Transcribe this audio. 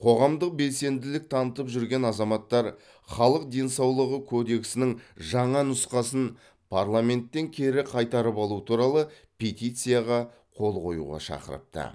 қоғамдық белсенділік танытып жүрген азаматтар халық денсаулығы кодексінің жаңа нұсқасын парламенттен кері қайтарып алу туралы петицияға қол қоюға шақырыпты